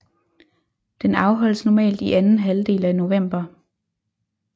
Den afholdes normalt i anden halvdel af november